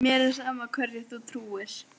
Mér er sama hverju þú trúir.